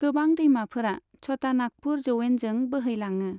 गोबां दैमाफोरा छटानागपुर जौयेनजों बैहैलाङो।